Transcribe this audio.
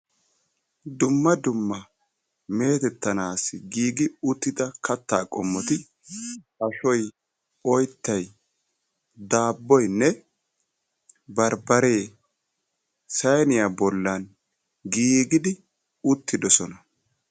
Dumma dumma meetettanaassi giigi uttida kattaa qommoti ashoy, oyttay, daabboynne barbbaree sayniya bollan giigidi uttidosona.